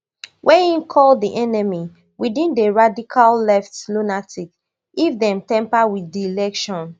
wey im call di enemy within and radical left lunatics if dem tamper wit di election